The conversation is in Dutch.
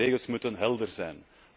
Die regels moeten helder zijn.